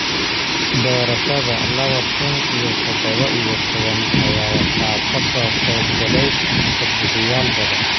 Doorashada laba kun iyo todoba iyo toban ayaa waxa ka soo qayb galay codbixiyeyaal badan.